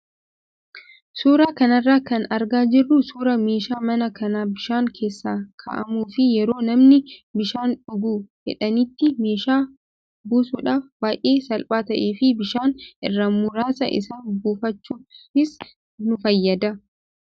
Suuraa kanarraa kan argaa jirru suuraa meeshaa manaa kan bishaan keessa kaa'amuu fi yeroo namni bishaan dhuguu fedhanitti meeshaa buusuudhaaf baay'ee salphaa ta'ee fi bishaan irraa muraasa isaa buufachuufis nu fayyada.